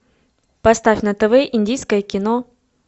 поставь на тв индийское кино